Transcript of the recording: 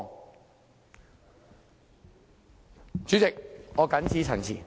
代理主席，我謹此陳辭。